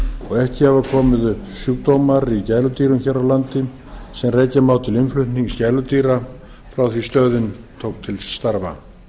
og ekki hafa komið upp sjúkdómar í gæludýrum hér á landi sem rekja má til innflutnings gæludýra frá því að stöðin tók til starfa